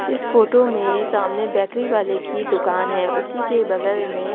इस फोटो में सामने बेकरी वाले की दुकान है उसी के बगल में---